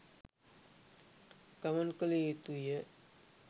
ගමන් කළ යුතු ය.